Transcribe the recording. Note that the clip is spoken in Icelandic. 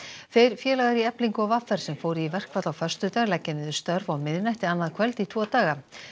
þeir félagar í Eflingu og v r sem fóru í verkfall á föstudag leggja niður störf á miðnætti annað kvöld í tvo daga